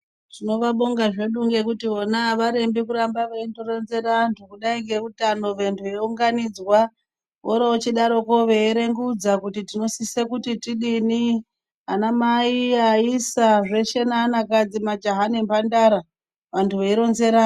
Tinovabonga zvedu ngekuti vona avarembi kuramba veindoronzera antu ngendaa yeutano antu eunganidzwa vorochidaro veierengudza kuti tinosise kuti tidini anamai aisa zveshe neanakadzi majaha nemhandara vantu veindo ronzerana.